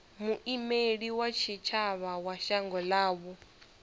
muimeli wa tshitshavha wa shango ḽavho